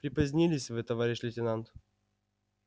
припозднились вы товарищ лейтенант